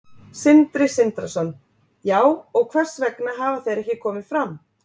Sindri Sindrason: Já, og hvers vegna hafa þeir ekki komið fram?